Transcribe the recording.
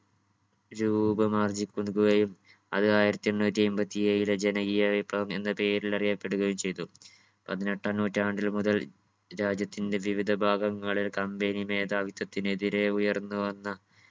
രൂപം ആർജിക്കുന്ന് കയും അത് ആയിരത്തി എണ്ണൂറ്റി അയ്മ്പത്തി എഴിലെ ജനകീയ വിപ്ലവം എന്ന പേരിൽ അറിയപ്പെടുകയും ചെയ്തു. പതിനെട്ടാം നൂറ്റാണ്ടിൽ മുതൽ രാജ്യത്തിൻ്റെ വിവിധ ഭാഗങ്ങളിൽ company മേധാവിത്തത്തിനെത്തിരെ ഉയർന്നു വന്ന